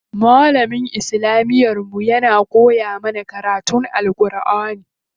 Malamin islamiyar mu ya koya mana karatun Alʼƙurʼani.